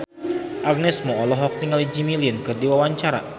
Agnes Mo olohok ningali Jimmy Lin keur diwawancara